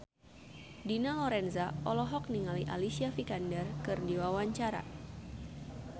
Dina Lorenza olohok ningali Alicia Vikander keur diwawancara